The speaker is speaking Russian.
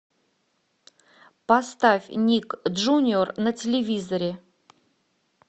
поставь ник джуниор на телевизоре